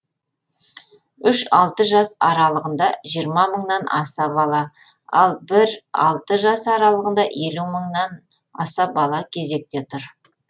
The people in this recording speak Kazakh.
үш алты жас аралығында жиырма мыңнан аса бала ал бір алты жас арасында елу мыңнан аса бала кезекте тұр